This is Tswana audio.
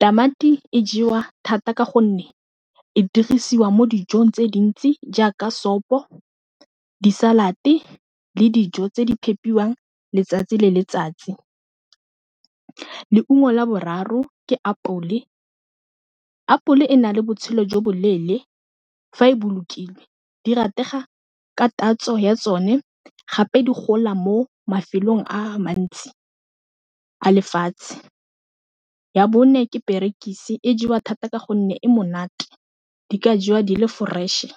tamati e jewa thata ka gonne e dirisiwa mo dijong tse dintsi jaaka sopo disalate le dijo tse di phepiwang letsatsi le letsatsi. Leungo la boraro ke apole, apole e na le botshelo jo bo leele fa e bolokile di rategang ka tatso ya tsone gape di gola mo mafelong a a mantsi a lefatshe. Ya bone ke perekise e jewa thata ka gonne e monate di ka jewa di le fresh-e.